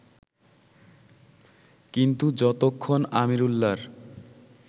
কিন্তু যতক্ষণ আমিরুল্লাহর